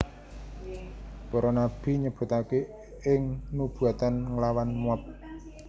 Para nabi nyebutaken ing nubuatan nglawan Moab